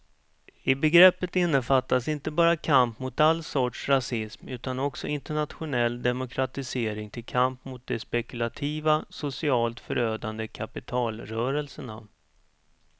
I begreppet innefattas inte bara kamp mot all sorts rasism utan också internationell demokratisering till kamp mot de spekulativa, socialt förödande kapitalrörelserna.